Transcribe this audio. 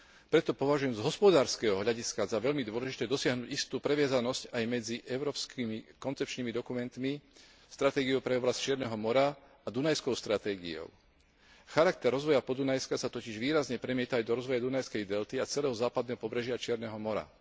Preto považujem z hospodárskeho hľadiska za veľmi dôležité dosiahnuť istú previazanosť aj medzi európskymi koncepčnými dokumentmi, stratégiou pre oblasť Čierneho mora a Dunajskou stratégiou. Charakter rozvoja Podunajska sa totiž výrazne premieta aj do rozvoja Dunajskej delty a celého západného pobrežia Čierneho mora.